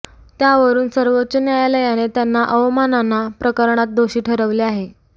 त्यावरून सर्वोच्च न्यायालयाने त्यांना अवमानना प्रकरणात दोषी ठरवले आहे